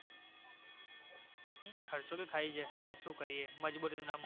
ખર્ચો તો થાય છે પણ શું કરીએ મજબૂરીનું નામ